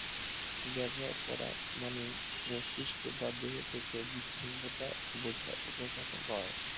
ব্যবহার করা মানে মস্তিস্ক বাধ্যতা বিচ্ছিন্নতা বোঝা বোঝানো হয়